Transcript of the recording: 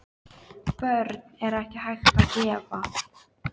Börn er ekki hægt að gefa.